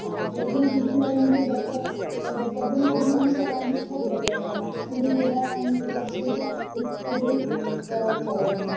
ହଁ ସେଇଥିପାଇଁକି ଶୁଖିଲା ଜିନିଶ ସବୁ ଦରକାରେ ପବନ ଫବନ ହବ ରାନ୍ଧିକି ଖାଇପାରିବ ନା କଣ ମୁଡି ଚୂଡା ଆଣିକି ସବୁ ରଖିଦେଇଥିବ ବିଶ୍କୁଟ ସେଇଆକୁ ଖାଇବ ନହେନେ।